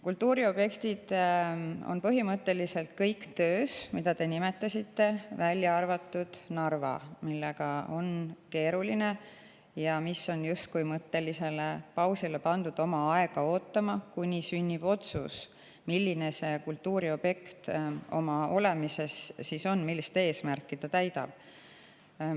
Kultuuriobjektid, mida te nimetasite, on põhimõtteliselt kõik töös, välja arvatud Narva, mille on keeruline ja mis on justkui pandud mõttelisele pausile, oma aega ootama, kuni sünnib otsus, milline see kultuuriobjekt oma olemuses on ja millist eesmärki ta täidab.